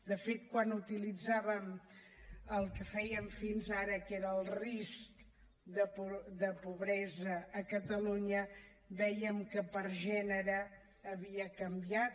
de fet quan utilitzàvem el que fèiem fins ara que era el risc de pobresa a catalunya vèiem que per gènere havia canviat